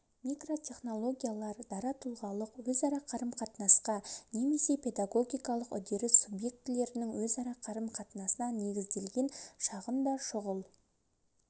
микротехнологиялар дара тұлғалық өзара қарым-қатынасқа немесе педагогикалық үдеріс субъектілерінің өзара қарым-қатынасына негізделген шағын да шұғыл